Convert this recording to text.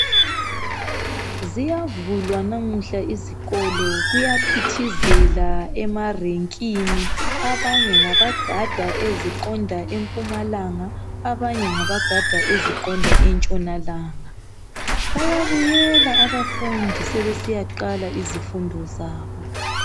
Ziyavulwa namuhla izikolo kuyaphithizela emarenkini. Abanye ngabagada eziqonda empumalanga banye ngabagada eziqonda entshonalanga. Bayabuyela abafundi sebesiya qala izifundo zabo.